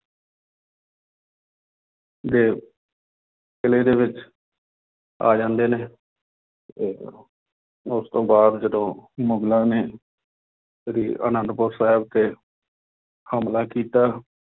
ਦੇ ਕਿਲੇ ਦੇ ਵਿੱਚ ਆ ਜਾਂਦੇ ਨੇ ਤੇ ਉਹ ਉਸ ਤੋਂ ਬਾਅਦ ਜਦੋਂ ਮੁਗਲਾਂ ਨੇ ਸ੍ਰੀ ਆਨੰਦਪੁਰ ਸਾਹਿਬ ਤੇ ਹਮਲਾ ਕੀਤਾ